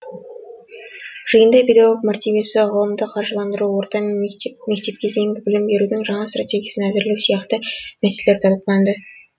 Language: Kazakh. жиында педагог мәртебесі ғылымды қаржыландыру орта және мектепке дейінгі білім берудің жаңа стратегиясын әзірлеу сияқты мәселелер талқыланды